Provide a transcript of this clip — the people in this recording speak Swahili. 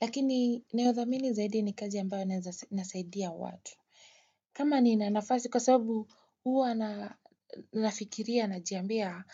Lakini nayothamini zaidi ni kazi ambayo nasaidia watu. Kama ninanafasi kwa sababu huwa nafikiria najiambia.